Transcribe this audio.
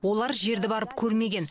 олар жерді барып көрмеген